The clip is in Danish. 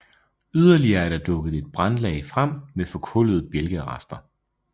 Yderligere er der dukket et brandlag frem med forkullede bjælkerester